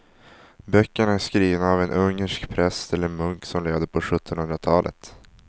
Böckerna är skrivna av en ungersk präst eller munk som levde på sjuttonhundratalet.